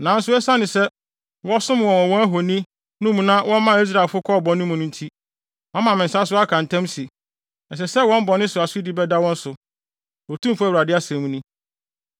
Nanso esiane sɛ wɔsom wɔn wɔ wɔn ahoni no mu na wɔmaa Israelfo kɔɔ bɔne mu nti, mama me nsa so aka ntam se, ɛsɛ sɛ wɔn bɔne so asodi bɛda wɔn so. Otumfo Awurade asɛm ni.